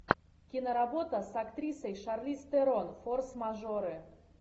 киноработа с актрисой шарлиз терон форс мажоры